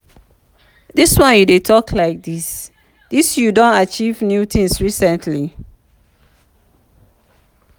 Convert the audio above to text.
dis one you dey talk like like dis you don achieve new thing recently?